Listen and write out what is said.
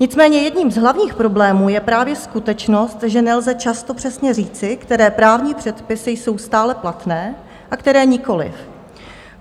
Nicméně jedním z hlavních problémů je právě skutečnost, že nelze často přesně říci, které právní předpisy jsou stále platné a které nikoliv.